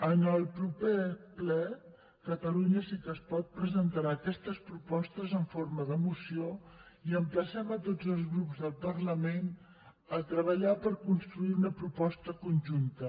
en el proper ple catalunya sí que es pot presentarà aquestes propostes en forma de moció i emplacem a tots els grups del parlament a treballar per construir una proposta conjunta